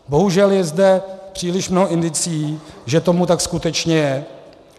Bohužel je zde příliš mnoho indicií, že tomu tak skutečně je.